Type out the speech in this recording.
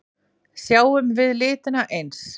Sjáum við litina eins?